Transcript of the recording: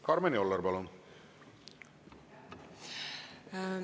Karmen Joller, palun!